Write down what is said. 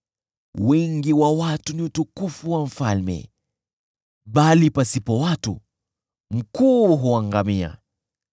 Wingi wa watu ni utukufu wa mfalme, bali pasipo watu mkuu huangamia.